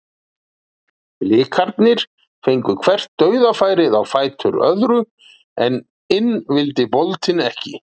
Blikarnir fengu hvert dauðafærið á fætur öðru en inn vildi boltinn ekki.